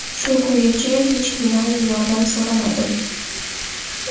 Shu kungacha hech kimdan yordam so‘ramadim.